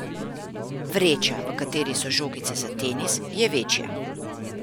Vreča, v kateri so žogice za tenis, je večja.